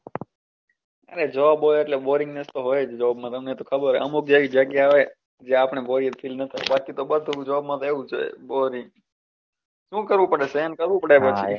અરે job હોય એટલે Boaringness તો હોય જ job માં તમને તો ખબર હોય અમુક જગ્યા એ આપણે બોરિયત Feel બાકી તો બસ job એવું જ હોય Boaring શું કરવું પડે સહન કરવું પડે પછી.